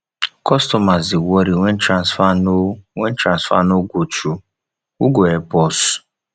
customers dey worry wen transfer no wen transfer no go through who go help us